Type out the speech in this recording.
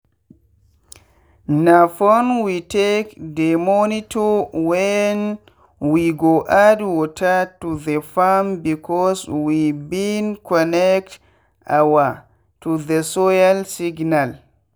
na phone we take dey monitor when we go add water to the farmbecause we been connect our to the soil signal.